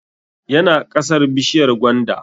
Yana ƙasar bishiyar gwanda